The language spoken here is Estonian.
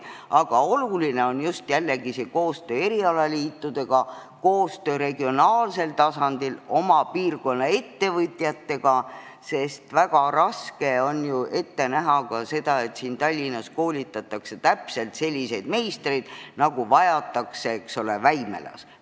Aga oluline on just jällegi koostöö erialaliitudega, koostöö regionaalsel tasandil oma piirkonna ettevõtjatega, sest väga raske on ju saavutada seda, et Tallinnas koolitataks täpselt selliseid meistreid, nagu vajatakse Väimelas.